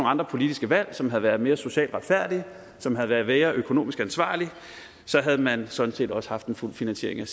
andre politiske valg som havde været mere socialt retfærdige og som havde været mere økonomisk ansvarlige havde man sådan set også haft en fuld finansiering af